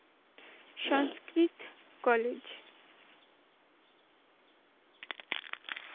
Sanskrit college.